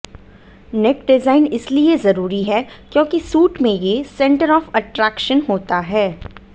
नेक design इसलिए जरूरी है क्योंकि सूट में ये सेंटर ऑफ अट्रेक्शन होता है